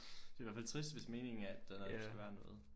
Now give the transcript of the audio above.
Det er i hvert fald trist hvis meningen er at der skal være noget